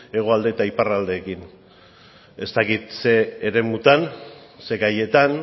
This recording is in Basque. hegoalde eta iparralderekin ez dakit ze eremutan ze gaietan